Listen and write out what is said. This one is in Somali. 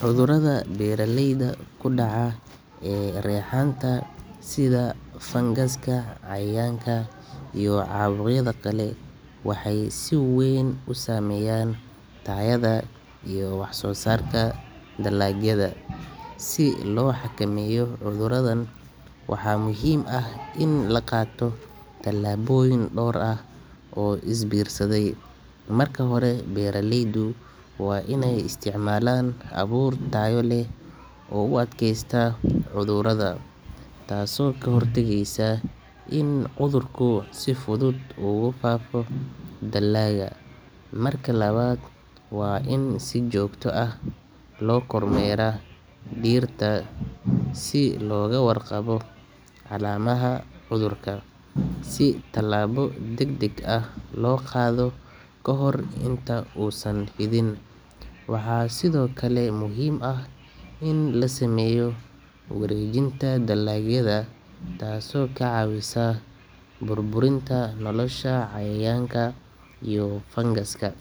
Cudurrada beeraleyda ku dhaca ee reexaanta sida fangaska, cayayaanka iyo caabuqyada kale waxay si weyn u saameeyaan tayada iyo wax-soo-saarka dalagyada. Si loo xakameeyo cudurradan, waxaa muhiim ah in la qaato tallaabooyin dhowr ah oo is biirsaday. Marka hore, beeraleydu waa inay isticmaalaan abuur tayo leh oo u adkaysata cudurrada, taasoo ka hortagaysa in cudurku si fudud ugu faafo dalagga. Marka labaad, waa in si joogto ah loo kormeeraa dhirta si looga warqabo calaamadaha cudurka, si tallaabo degdeg ah loo qaado ka hor inta uusan fidin. Waxaa sidoo kale muhiim ah in la sameeyo wareejinta dalagyada, taasoo ka caawisa burburinta nolosha cayayaanka iyo fangaska.